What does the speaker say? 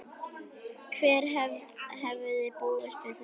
Hver hefði búist við þessu??